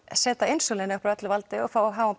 setja insúlínið upp úr öllu valdi og fá háan